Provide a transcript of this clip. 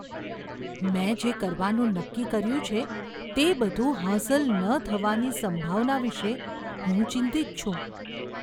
મેં જે કરવાનું નક્કી કર્યું છે તે બધું હાંસલ ન થવાની સંભાવના વિશે હું ચિંતિત છું.